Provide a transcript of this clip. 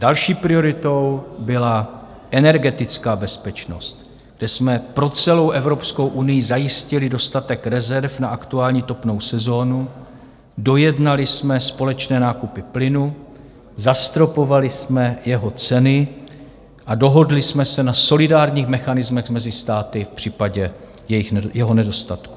Další prioritou byla energetická bezpečnost, kde jsme pro celou Evropskou unii zajistili dostatek rezerv na aktuální topnou sezónu, dojednali jsme společné nákupy plynu, zastropovali jsme jeho ceny a dohodli jsme se na solidárních mechanismech mezi státy v případě jeho nedostatku.